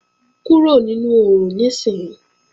Kúrò nínú oòrùn níìsín!